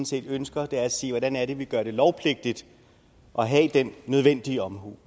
set ønsker er at sige hvordan er det vi gør det lovpligtigt at have den nødvendige omhu